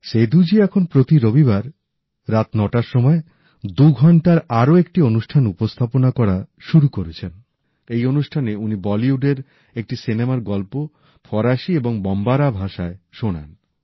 সেদূজি এখন প্রতি রবিবার রাত নটার সময় দু ঘন্টার আরো একটি অনুষ্ঠান উপস্থাপনা করা শুরু করেছেন এই অনুষ্ঠানে উনি বলিউডের একটি সিনেমার গল্প ফরাসি এবং বম্বারা ভাষায় শোনান